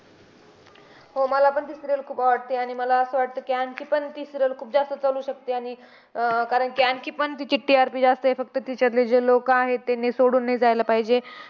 हो, मलापण ती serial खूप आवडते. आणि मला असं वाटते की, आणखीपण ती serial खूप जास्त चालू शकते. आणि अह कारण की, आणखीपण तिची TRP जास्त आहे. फक्त तिच्यातली जी लोकं आहेत त्यांनी सोडून नाही जायला पाहिजे.